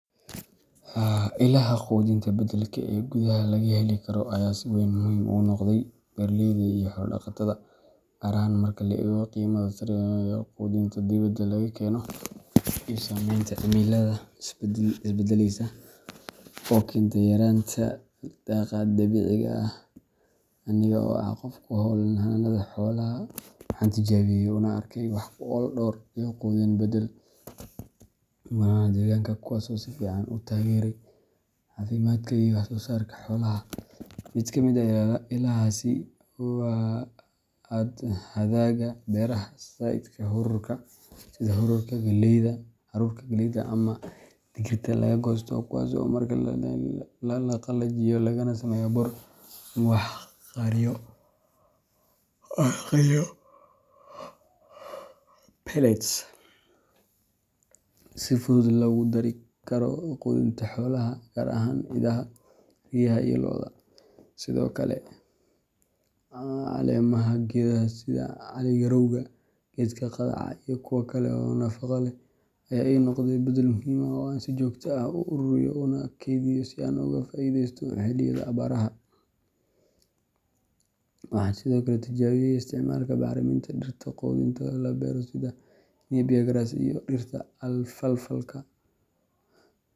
Ilaaha quudinta beddelka ah ee gudaha laga heli karo ayaa si weyn muhiim ugu noqday beeraleyda iyo xoolo-dhaqatada, gaar ahaan marka la eego qiimaha sare ee quudinta dibadda laga keeno iyo saameynta cimilada isbeddeleysa oo keenta yaraanta daaqa dabiiciga ah. Aniga oo ah qof ku hawlan xanaanada xoolaha, waxaan tijaabiyey una arkay wax ku ool dhowr ilo quudin beddel ah oo laga helo gudaha deegaanka, kuwaas oo si fiican u taageeray caafimaadka iyo wax-soo-saarka xoolaha. Mid ka mid ah ilahaasi waa hadhaaga beeraha sida haruurka, galleyda, ama digirta laga goosto, kuwaas oo markii la qalajiyo lagana sameeyo bur ama wax la qariyo pellets, si fudud loogu dari karo quudinta xoolaha gaar ahaan idaha, riyaha iyo lo’da. Sidoo kale, caleemaha geedaha sida cali-garowga, geedka qudhaca , iyo kuwa kale oo nafaqo leh, ayaa ii noqday beddel muhiim ah oo aan si joogto ah u ururiyo una kaydiyo si aan uga faa’iidaysto xilliyada abaaraha. Waxaan sidoo kale tijaabiyey isticmaalka bacriminta dhirta quudinta loo beero sida Napier grass iyo dhirta Alfalfaka.